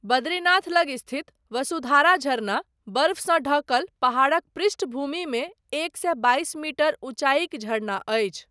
बद्रीनाथ लग स्थित वसुधारा झरना बर्फसँ ढँकल पहाड़क पृष्ठभूमि मे एक सए बाइस मीटर ऊँचाईक झरना अछि।